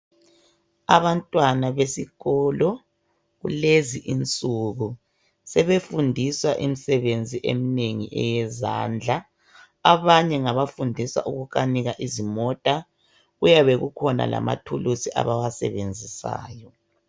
Abantwana besikolo kulezi insuku sebefundiswa imsebenzi emnengi eyezandla. Abanye ngabafundiswa ukukanika izimota. Kuyabe kukhona lamathuluzi abawasebenzisayo.